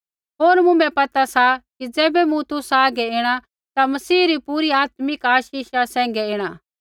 होर मुँभै पता सा कि ज़ैबै मूँ तुसा हागै ऐणा ता मसीह री पूरी आत्मिक आशीषा सैंघै ऐणा